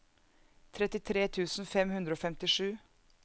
trettitre tusen fem hundre og femtisju